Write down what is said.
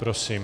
Prosím.